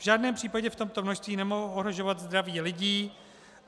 V žádném případě v tomto množství nemohou ohrožovat zdraví lidí.